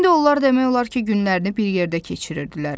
İndi onlar demək olar ki, günlərini bir yerdə keçirirdilər.